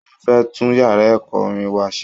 Wọ́n fẹ́ tún yàrá ẹ̀kọ́ orin wa ṣe